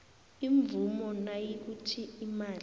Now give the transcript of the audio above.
imvumo nayikuthi imali